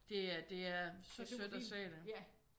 Det er det er så sødt at se det